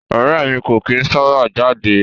Ọrẹ́ ẹ̀ mi kò kìí sábà jáde.